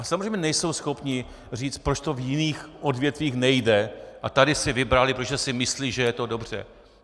A samozřejmě nejsou schopni říct, proč to v jiných odvětvích nejde, a tady si vybrali, protože si myslí, že je to dobře.